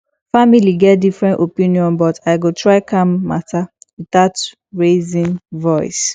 family get different opinions but i go try calm matter without raising voice